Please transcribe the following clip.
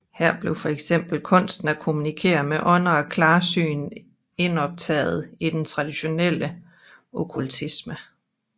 Her blev fx kunsten at kommunikere med ånder og klarsyn indoptaget i den tradtionelle okkultisme